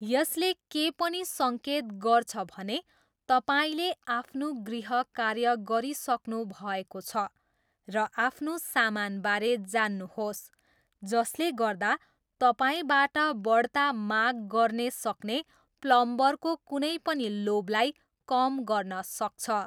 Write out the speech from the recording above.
यसले के पनि सङ्केत गर्छ भने तपाईँले आफ्नो गृहकार्य गरिसक्नुभएको छ र आफ्नो सामानबारे जान्नुहोस् जसले गर्दा तपाईँबाट बढ्ता माग गर्ने सक्ने प्लम्बरको कुनै पनि लोभलाई कम गर्न सक्छ।